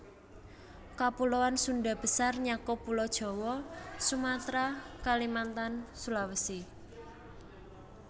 Kapuloan Sundha Besar nyakup Pulo Jawa Sumatra Kalimantan Sulawesi